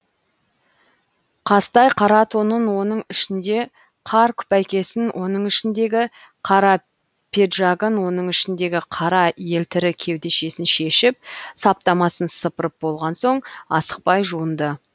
қазтай қара тонын оның ішінде кар күпәйкесін оның ішіндегі қара педжагын оның ішіндегі қара елтірі кеудешесін шешіп саптамасын сыпырып болған соң асықпай жуынды